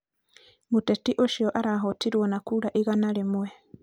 mũteti ũcio arahootirwo na kura igana rĩmwe